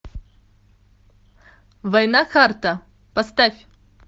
война харта поставь